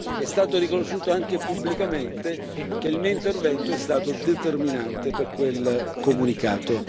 È stato riconosciuto, anche pubblicamente, che il mio intervento è stato determinante per quel comunicato.